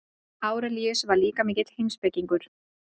Árelíus var líka mikill heimspekingur.